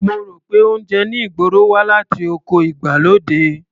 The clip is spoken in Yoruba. Mo rò pé oúnjẹ ní ìgboro wá láti oko ìgbàlódé.